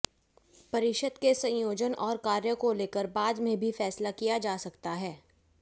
परिषद के संयोजन और कार्यों को लेकर बाद में भी फैसला किया जा सकता है